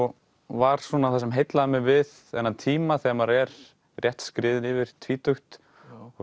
var svona það sem heillaði mig við þennan tíma þegar maður er rétt skriðinn yfir tvítugt og